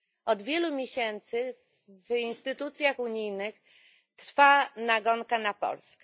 Od wielu miesięcy w instytucjach unijnych trwa nagonka na Polskę.